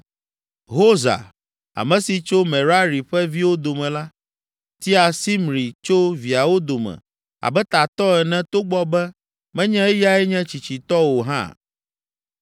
Hosa, ame si tso Merari ƒe viwo dome la, tia Simri tso viawo dome abe tatɔ ene togbɔ be menye eyae nye tsitsitɔ o hã.